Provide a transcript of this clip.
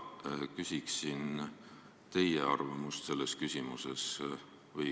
Küsiksin teie arvamust selles küsimuses.